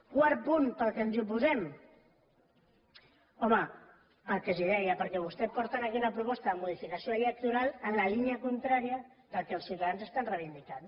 quart punt per què ens hi oposem home el que els deia perquè vostès porten aquí una proposta de modificació de la llei electoral en la línia contrària del que els ciutadans estan reivindicant